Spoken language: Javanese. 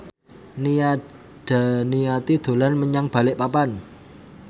Nia Daniati dolan menyang Balikpapan